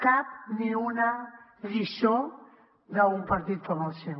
cap ni una lliçó d’un partit com el seu